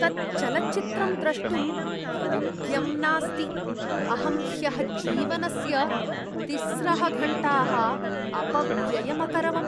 तत् चलच्चित्रं द्रष्टुं योग्यम् नास्ति। अहं ह्यः जीवनस्य तिस्रः घण्टाः अपव्ययम् अकरवम्।